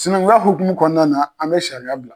Sinɛnkunya hukumu kɔnɔna na an be sariya bila